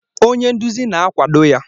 Onye nduzi na-akwado ya.